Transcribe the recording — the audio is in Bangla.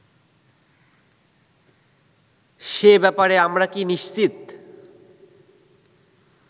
সে ব্যাপারে আমরা কি নিশ্চিত